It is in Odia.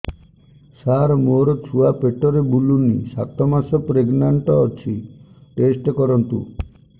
ସାର ମୋର ଛୁଆ ପେଟରେ ବୁଲୁନି ସାତ ମାସ ପ୍ରେଗନାଂଟ ଅଛି ଟେଷ୍ଟ କରନ୍ତୁ